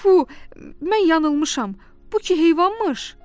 Tfu, mən yanılmışam, bu ki heyvanmış!